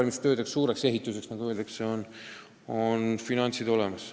Nendeks esimesteks suurteks ehitustöödeks on finantsid olemas.